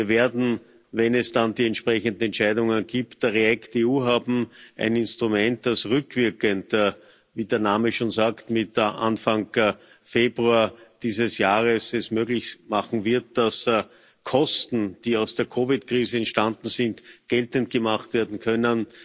Wir werden, wenn es dann die entsprechenden Entscheidungen gibt, REACT EU haben, ein Instrument, das rückwirkend wie der Name schon sagt Mitte, Anfang Februar dieses Jahres es möglich machen wird, dass Kosten, die aus der COVID Krise entstanden sind, geltend gemacht werden können.